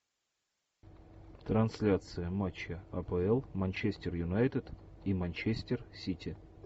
трансляция матча апл манчестер юнайтед и манчестер сити